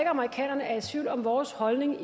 amerikanerne er i tvivl om vores holdning